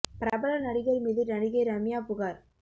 பிரபல நடிகர் மீது நடிகை ரம்யா புகார்